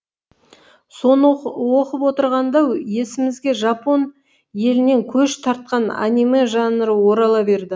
соны оқып отырғанда есімізге жапон елінен көш тартқан аниме жанры орала берді